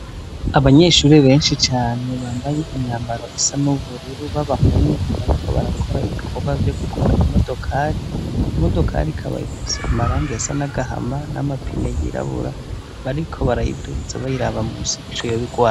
Abanyeshure benshi cane bambaye imyambaro isa n'ubururu b'abahungu, bariko barakora ibikorwa vyo gukora imodokari, imodokari ikaba ifise amarangi asa n'agahama n'amapine yirabura, bariko barayiduza, bayiraba musi ico yoba igwaye.